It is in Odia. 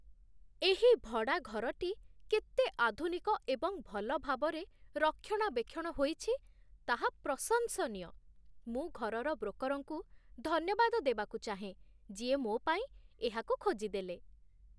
ଏହି ଭଡ଼ାଘରଟି କେତେ ଆଧୁନିକ ଏବଂ ଭଲ ଭାବରେ ରକ୍ଷଣାବେକ୍ଷଣ ହୋଇଛି, ତାହା ପ୍ରଶଂସନୀୟ! ମୁଁ ଘରର ବ୍ରୋକର୍‌ଙ୍କୁ ଧନ୍ୟବାଦ ଦେବାକୁ ଚାହେଁ ଯିଏ ମୋ ପାଇଁ ଏହାକୁ ଖୋଜିଦେଲେ।